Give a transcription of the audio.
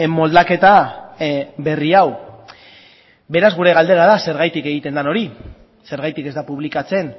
moldaketa berri hau beraz gure galdera da zergatik egiten den hori zergatik ez da publikatzen